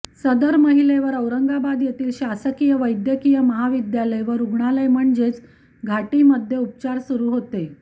सदर महिलेवर औरंगाबाद येथील शासकीय वैद्यकीय महाविद्यालय व रुग्णालय म्हणजेच घाटीमध्ये उपचार सुरू होते